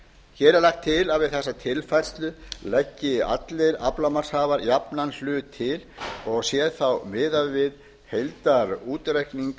hér er lagt til að við þessa tilfærslu byggir allir aflamarkshafar jafnan hlut til og sé þá miðað við heildarútreikning